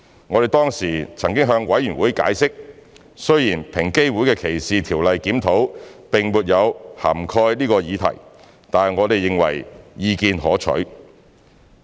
我們當時曾向法案委員會解釋，雖然平機會的歧視條例檢討並沒有涵蓋此議題，但我們認為意見可取。